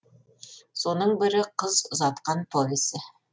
соның бірі қыз ұзатқан повесі